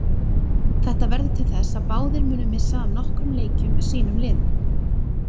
Þetta verður til þess að báðir munu missa af nokkrum leikjum með sínum liðum.